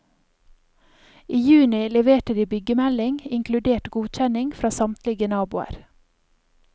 I juni leverte de byggemelding, inkludert godkjenning fra samtlige naboer.